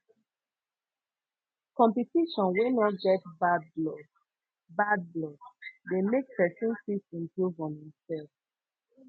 competition wey no get bad blood bad blood de make persin fit improve on im self